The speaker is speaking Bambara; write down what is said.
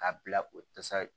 K'a bila o